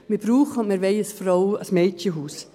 Wir brauchen und wir wollen ein Mädchenhaus.